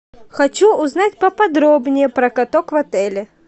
хочу узнать поподробнее про каток в отеле